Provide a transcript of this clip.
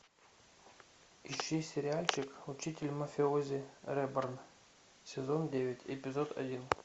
ищи сериальчик учитель мафиози реборн сезон девять эпизод один